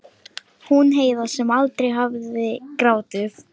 Hún Heiða sem aldrei hafði grátið.